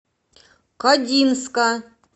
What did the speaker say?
кодинска